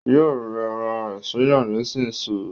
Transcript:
Yóò rẹ ra ẹ̀ sílẹ̀ nísinsìnyí